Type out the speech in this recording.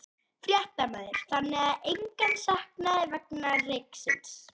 Fréttamaður: Þannig að engan sakaði vegna reyksins?